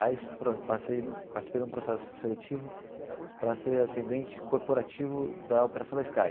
Aí para parcei participei de um processo seletivo para ser atendente corporativo da operação da Sky.